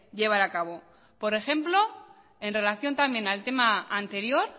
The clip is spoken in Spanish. llevar acabo por ejemplo en relación también al tema anterior